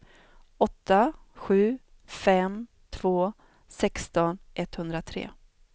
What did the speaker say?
åtta sju fem två sexton etthundratre